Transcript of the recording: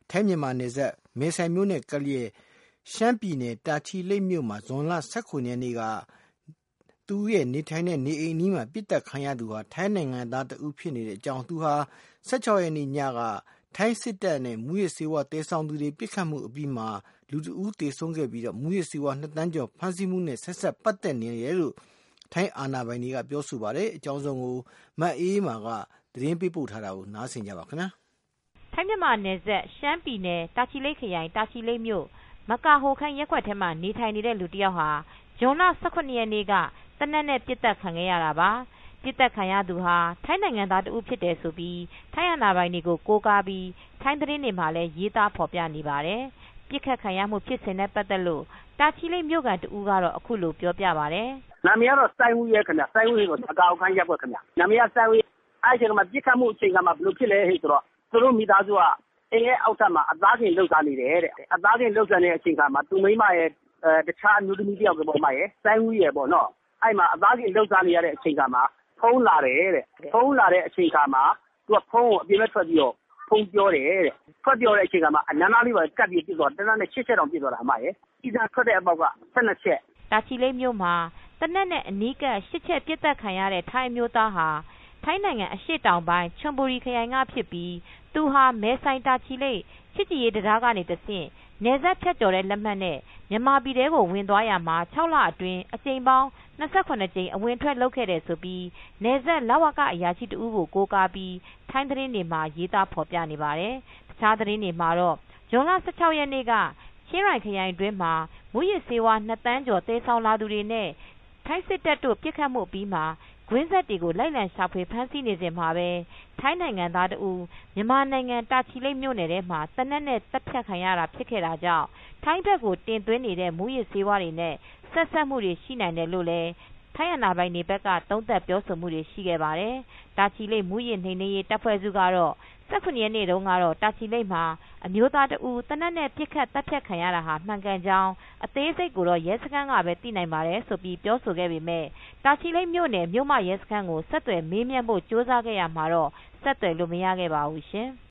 ထိုင်း-မြန်မာနယ်စပ် မယ်ဆိုင်မြို့အနီး ရှမ်းပြည်နယ် တာချီလိတ် မြို့မှာဇွန်လ၁၇ ရက်နေ့ သူရဲ့နေထိုင်တဲ့အိမ်အနီးမှာပဲ သေနတ်နဲ့ပစ်သတ်ခံရသူဟာ ထိုင်းနိုင်ငံသားတဦးဖြစ်နေကြောင်း၊ ၁၆ ရက်နေ့ညက ထိုင်းစစ်တပ်နဲ့မူယစ်ဆေးဝါးသယ်ဆောင်သူတွေပစ်ခတ်မူဖြစ်အပြီး လူတဦးသေဆုံးခဲ့ပြီးမူးယစ်ဆေးဝါး ၂သန်းကျော်ဖမ်းဆီးမူနဲ့ဆက်စပ်ပတ်သက်နိုင်တယ်လို့ ထိုင်းအာဏာပိုင်တွေကပြောပါတယ်။ အပြည့်အစုံကိုတော့ ထိုင်းအခြေစိုက် သတင်းထောက် မအေးအေးမာက သတင်းပေးပို့ထားပါတယ်။ ထိုင်း-မြန်မာနယ်စပ် ရှမ်းပြည်နယ် ၊ တာချီလိတ်ခရိုင်၊ တာချီလိတ်မြို့ ၊ မကာဟိုခမ်း ရပ်ကွက်ထဲမှာနေထိုင်နေတဲ့ လူတယောက်ဟာ ဇွန်လ ၁၇ ရက်နေ့က ပစ်သတ်ခံရတာ ပါ။ ပစ်သတ်ခံရသူဟာ ထိုင်းနိုင်ငံသားတဦးဖြစ်တယ်ဆိုပြီး ထိုင်းအာဏာပိုင်တွေကို ကိုးကားပြီး ထိုင်းသတင်းတွေမှာ ရေးသားဖော်ပြနေတာပါ။ ပစ်ခတ်ခံရမူဖြစ်စဉ်နဲ့ ပတ်သက်လို့တာချိၤလိတ်မြိုခံတဦးက အခုလိုပြောပြပါတယ်။ “မကာဟိုခမ်းရပ်ကွက်က ခင်ဗျ။ ပစ်ခတ်မှုအချိန်မှာ ဘယ်လိုဖြစ်သလဲဆိုတော့ သူတို့မိသားစုက အိမ်အောက်ထပ်မှာ အသားကင်လုပ်စားနေတယ်။ အသားကင်လုပ်နေတဲ့အချိန်မှာ သူ့မိန်းမရယ် တခြားအမျိုးသမီးတယောက်ရယ်၊ သူရယ်ပေါ့နော်။ အဲဒီအသားကင်လုပ်စားနေတဲ့အချိန်မှာ ဖုန်းလာတယ်တဲ့။ ဖုန်းလာတော့ သူက အပြင်ဘက်ထွက်ပြီးတော့ ဖုန်းပြောတယ်တဲ့၊ အဲဒီအချိန်မှာ အနားကပ်ပြီးတော့ သေနတ်နဲ့ ၈ ချက်တောင်ပစ်သွားတာ။” တာချီလိတ်မြို့မှာ သေနတ်နဲ့ အနီးကပ် ၈ချက်ပစ်သတ်တာခံရတဲ့ ထိုင်းအမျိုးသားဟာ ထိုင်းနိုင်ငံအရှေ့တောင်ပိုင်း ၊ချွန်ဘူရီ ခရိုင်ကဖြစ်ပြီး သူဟာ မယ်ဆိုင် - တာချီလိပ် ချစ်ကြည်ရေးတံတားက တဆင့် နယ်စပ်ဖြတ်ကျော်လက်မှတ်နဲ့ မြန်မာပြည်ထဲကို ဝင်သွားရာမှာ ၆လအတွင်း မှာ အကြိမ်ပေါင်း ၂၇ ကြိမ် အဝင်အထွက် လုပ်ခဲ့တယ်လို့ နယ်စပ် လဝကအရာရှိတဦး ကို ကိုးကားပြီး ထိုင်းသတင်းတွေမှာရေးသားဖော်ပြနေပါတယ်။ တခြားသတင်းတွေမှာတော့ ဇွန်လ ၁၆ရက်နေ့က ချင်းရိုင်ခရိုင်တွင်းမှာ မူးယစ်ဆေးဝါး၂သန်းကျော်သယ်ဆောင်လာသူတွေနဲ့ ထိုင်းစစ်တပ်တို့ ပစ်ခတ်မူအပြီး မှာ ကွင်းဆက်တွေကို လိုက်လံရှာဖွေ ဖမ်းဆီးနေစဉ်မှာပဲ ထိုင်းနိုင်ငံသားတဦးမြန်မာနိုင်ငံ တာချိၤလိတ်မြို့မှာသေနတ်နဲ့ သတ်ဖြတ်ခံရမူဖြစ်ခဲ့တာကြောင့် ထိုင်းဘက်ကို တင်သွင်းနေတဲ့မူးယစ်ဆေးဝါးတွေနဲ့ဆက်စပ်မူတွေ ရှိနိုင်တယ်လို့လည်း ထိုင်းအာဏာပိုင်တွေကသုံးသပ်ပြောဆိုမူတွေရှိခဲ့ပါတယ်။ တာချီလိတ် မူးယစ်နှိမ်နင်းရေးတပ်ဖွဲ့စုကတော့ ၁၇ရက်နေ့ တုန်းက တာချီလိတ် မှာအမျိုသားတဦးသေနတ်နဲ့ ပစ်ခတ်သတ်ဖြတ်ခံရတာ မှန်ကန်ကြောင်း အသေးစိတ်ကိုတော့ ရဲစခန်းကပဲသိနိုင်ပါတယ်လို့ပြောပေမယ့် တာချီလိတ်မြို့မ ရဲစခန်းကို ဆက်သွယ်မေးမြန်းဖို့ကြိုးစားခဲ့ရာမှာ တော့ ဆက်သွယ်လို့မရခဲ့ပါဘူး။